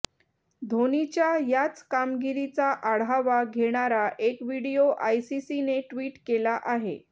धोनीच्या याच कामगिरीचा आढावा घेणारा एक व्हिडिओ आयसीसीने ट्विट केला आहे